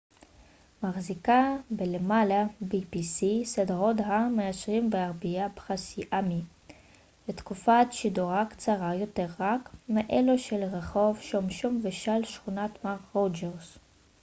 סדרת ה-pbs מחזיקה בלמעלה מעשרים וארבעה פרסי אמי ותקופת שידורה קצרה יותר רק מאלו של רחוב שומשום ושל שכונת מר רוג'רס